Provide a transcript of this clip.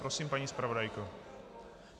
Prosím, paní zpravodajko.